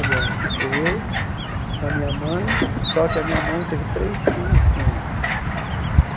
Agora, ficou eu, a minha mãe, só que a minha mãe teve três filhos com ele.